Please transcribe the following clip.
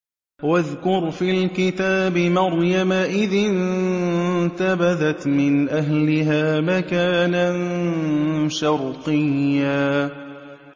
وَاذْكُرْ فِي الْكِتَابِ مَرْيَمَ إِذِ انتَبَذَتْ مِنْ أَهْلِهَا مَكَانًا شَرْقِيًّا